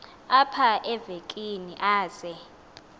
apha evekini aze